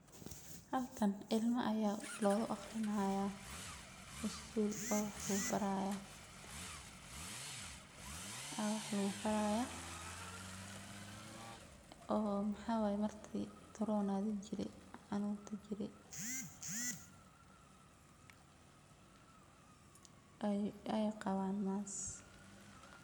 Halkan ilma aya logu aqrini haya isgul oo wax lagu bari haya oo maxaa waye marki karonaga jire xanunka jire ee qawan mask.